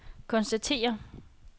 konstatere